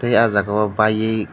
tei o jaga o baye.